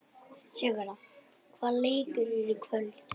Sigurða, hvaða leikir eru í kvöld?